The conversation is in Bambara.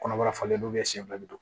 Kɔnɔbara falen do